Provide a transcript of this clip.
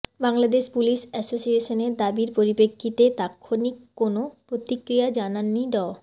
Bangladesh police অ্যাসোসিয়েশনের দাবির পরিপ্রেক্ষিতে তাৎক্ষণিক কোনো প্রতিক্রিয়া জানাননি ড